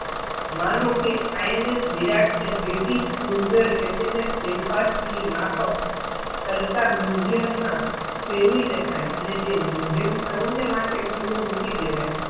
માનો કે INS વિરાટ ને બ્રિટિશ cruizerHMS Belfast ની માફક તરતા musuem માં ફેરવી નાખે અને તે musuem સૌને માટે ખુલ્લુ મૂકી દેવાય.